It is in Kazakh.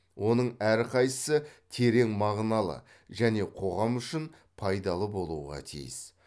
оның әрқайсысы терең мағыналы және қоғам үшін пайдалы болуға тиіс